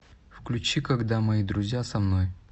включи когда мои друзья со мной